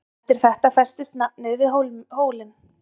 En eftir þetta festist nafnið við hólinn.